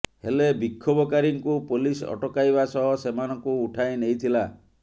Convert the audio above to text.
ହେଲେ ବିକ୍ଷୋଭକାରୀଙ୍କୁ ପୋଲିସ ଅଟକାଇବା ସହ ସେମାନଙ୍କୁ ଉଠାଇ ନେଇଥିଲା